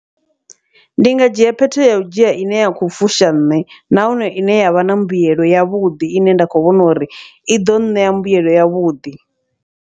Ndi nga dzhia phetho yau dzhia ine ya khou fusha nṋe, nahone ine yavha na mbuyelo ya vhuḓi ine nda kho vhona uri iḓo ṋea mbuyelo yavhuḓi.